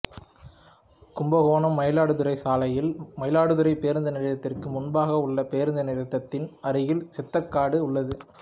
கும்பகோணம்மயிலாடுதுறை சாலையில் மயிலாடுதுறை பேருந்து நிலையத்திற்கு முன்பாக உள்ள பேருந்து நிறுத்தத்தின் அருகில் சித்தர்காடு உள்ளது